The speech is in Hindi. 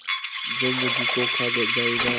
जो मुझी को खा जायगा